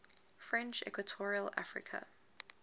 french equatorial africa